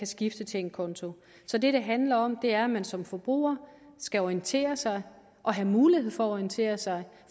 skifte til en konto så det det handler om er at man som forbruger skal orientere sig og have mulighed for at orientere sig